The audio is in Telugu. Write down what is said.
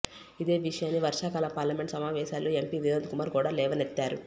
ఇదే విషయాన్ని వర్షాకాల పార్లమెంటు సమావేశాల్లో ఎంపీ వినోద్ కుమార్ కూడా లేవనెత్తారు